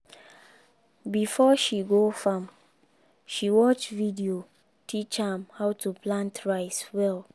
before she go farm she watch video teach am how to plant rice well